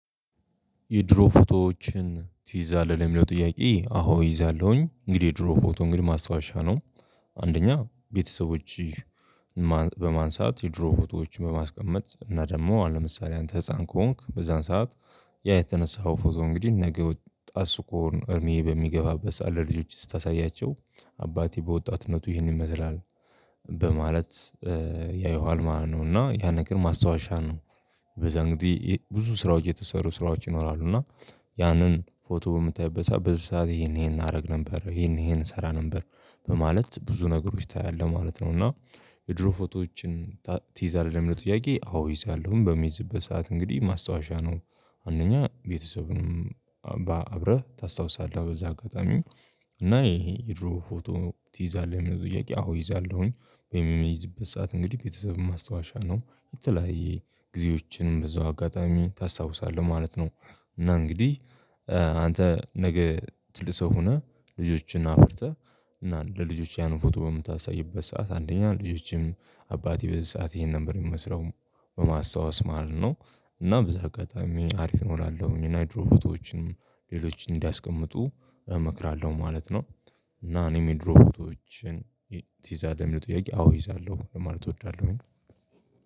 የድሮ ፎቶዎችን ትይዛለህ ለሚለው ጥያቄ? አዎ እይዛለሁኝ እንግዲህ የድሮ ፎቶ እንግዲህ ማስታወሻ ነው። አንደኛ ቤተሰቦች በማንሳት የድሮ ፎቶዎችን በማስቀመጥ እና ደግሞ አሁን ለምሳሌ አንተ ህፃን ከሆንክ በዛን ሰዓት ያ የተነሳው ፎቶ እንግዲህ ነገ ወጥት ስኮን እድሜህ በሚገፋበት ለልጆች ስታሳያቸው አባቴ በወጣትነቱ ይህን ይመስላል። በማለት ያየኋል ማለት ነው እና ያ ነገር ማስታወሻ ነው። በዛ እንግዲህ ብዙ ስራዎች የተሰሩ ስራዎች ይኖራሉ እና ያንን ፎቶ በምታይበት ሰዓት በዚህ ሰዓት ይሄን ይሄን አረግ ነበር ይሄን ይሄን እሰራ ነበር በማለት ብዙ ነገሮች ታያለህ ማለት ነው። እና የድሮ ፎቶዎችን ትዛለህ ለምለው ጥያቄ? አዎ ይዛለሁም በሚዝበት ሰዓት እንግዲህ ማስታወሻ ነው። አንደኛ ቤተሰብንም አብረህ ታስታውሳለህ በዛ አጋጣሚ እና ይሄ የድሮ ፎቶ ትይዛለህ የምለው ጥያቄ? አዎ ይዛለሁኝ ወይም የሚይዝበት ሰዓት እንግዲህ ቤተሰብም ማስታወሻ ነው የተለያየ ጊዜዎችንም በዛው አጋጣሚ ታስታውሳለህ ማለት ነው። እና እንግዲህ አንተ ነገ ትልቅ ሰው ሆነህ ልጆችን አፍርተህ እና ለልጆች ያንን ፎቶ በምታሳይበት ሰዓት አንደኛ ልጆቼም አባቴ በዚህ ሰዓት ይሄን ነበር የሚመስለው በማስታወስ ማለት ነው። እና በዛ አጋጣሚ አሪፍ ነው እላለሁኝ እና የድሮ ፎቶዎች ሌሎችን እንዲያስቀምጡ እመክራለሁ ማለት ነው። እና እኔ የድሮ ፎቶዎችን ትዛለህ ለምለው ጥያቄ? አዎ እይዛለሁ ማለት እወዳለሁ።